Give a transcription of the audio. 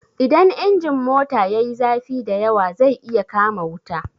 Idan injin mota yayi zafi da yawa zai iya kama wuta.